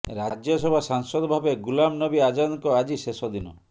ରାଜ୍ୟସଭା ସାଂସଦ ଭାବେ ଗୁଲାମ ନବୀ ଆଜାଦଙ୍କ ଆଜି ଶେଷ ଦିନ